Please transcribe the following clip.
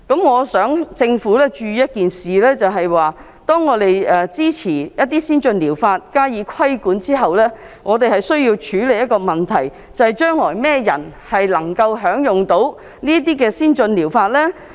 我希望政府注意的是，當我們支持一些先進療法，並加以規管後，我們需要處理一個問題，就是將來甚麼人能夠享用這些先進療法呢？